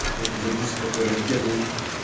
что это за диск такой раритетный